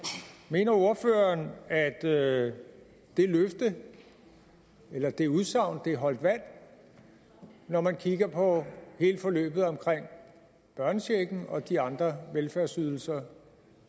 mener ordføreren at det det løfte eller det udsagn holdt vand når man kigger på hele forløbet omkring børnechecken og de andre velfærdsydelser